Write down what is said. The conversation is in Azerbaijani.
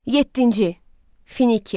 Yeddinci, Finikiya.